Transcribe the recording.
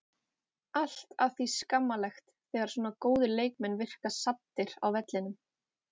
Allt að því skammarlegt þegar svona góðir leikmenn virka saddir á vellinum.